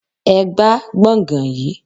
Ẹ gbá gbọ̀ngàn yìí!